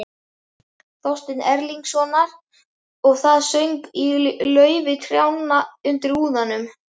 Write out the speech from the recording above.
Þorsteins Erlingssonar, og það söng í laufi trjánna undir úðanum.